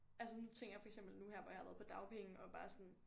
Altså nu tænker jeg for eksempel nu her hvor jeg har været på dagpenge og bare sådan